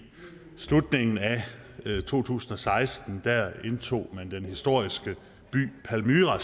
slutningen af to tusind og seksten indtog man den historiske by palmyra